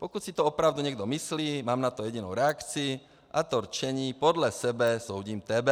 Pokud si to opravdu někdo myslí, mám na to jedinou reakci, a to rčení podle sebe soudím tebe.